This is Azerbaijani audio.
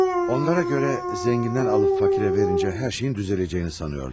Onlara görə zəngindən alıb fakirə verincə hər şeyin düzələcəyini sanırlar.